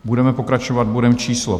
Budeme pokračovat bodem číslo